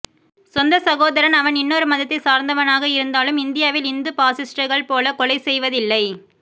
சொந்தச் சகோதரன் அவன் இன்னொரு மதத்தைச் சார்ந்தவனாக இருந்தாலும் இந்தியாவில் இந்துப் பாசிஸ்டுகள் போல கொலை செய்வதில்லை